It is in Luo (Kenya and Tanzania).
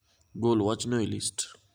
Gol wachno e list.